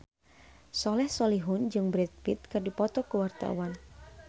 Soleh Solihun jeung Brad Pitt keur dipoto ku wartawan